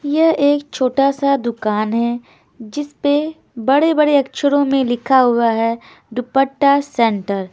यह एक छोटा-सा दुकान है जिस पे बड़े-बड़े अक्षरों में लिखा हुआ है दुपट्टा सेंटर ।